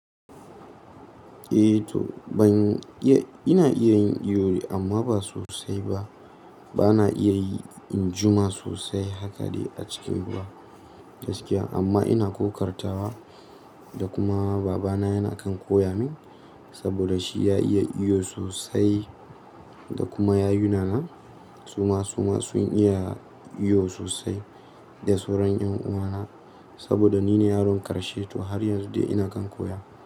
Eh to ban iya, ina iya yin iyo dai amma ba sosai ba. Bana iya yi in juma sosai haka dai a cikin ruwa gaskiya. Amma ina kokartawa da kuma baba na yana kan koya min saboda shi ya iya iyo sosai. Da kuma yayuna na suma suma sun iya iyo sosai. Da sauran ƴan uwa na saboda ni ne yaron ƙarshe to har yanzu dai ina kan koya.